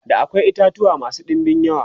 da akwai itatuwa masu ɗinbin yawa